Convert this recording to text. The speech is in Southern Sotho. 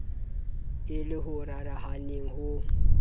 e le o rarahaneng ho